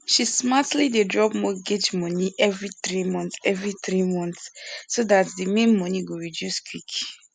she smartly dey drop mortgage money every three months every three months so dat di main money go reduce quick